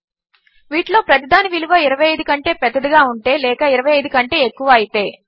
వీటిలో ప్రతిదాని విలువ 25 కంటే పెద్దదిగా ఉంటే లేక 25 కంటే ఎక్కువ అయితే